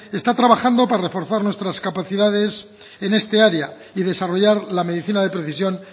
está trabajando para reforzar nuestras capacidades en esta área y desarrollar la medicina de precisión